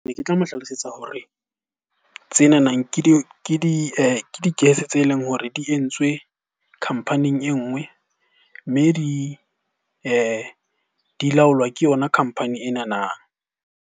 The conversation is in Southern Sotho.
Ne ke tla mo hlalosetsa hore tsenanang ke di-gas tse leng hore di entswe company e nngwe. Mme di di laolwa ke yona company enana.